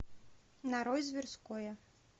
нарой зверское